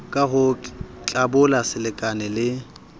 ka ho tlabola selekane le